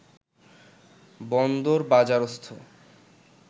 বন্দরবাজারস্থ